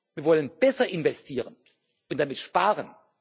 wir wollen besser investieren und damit sparen.